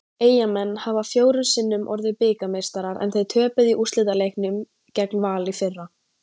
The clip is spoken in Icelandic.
Eyjamenn hafa fjórum sinnum orðið bikarmeistarar en þeir töpuðu í úrslitaleiknum gegn Val í fyrra.